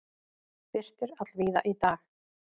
Birtir allvíða í dag